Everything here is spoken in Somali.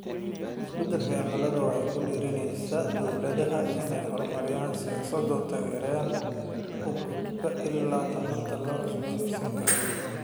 Isbeddelka cimiladu waxay ku dhiirigelinaysaa dawladaha inay horumariyaan siyaasado taageeraya u gudubka ilaha tamarta la cusboonaysiin karo.